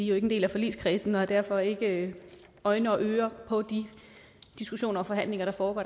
jo ikke en del af forligskredsen og har derfor ikke øjne og ører på de diskussioner og forhandlinger der foregår